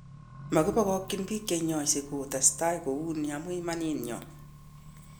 Mokibokokyini bik cheinyose kotesta kouni amun imanit nyon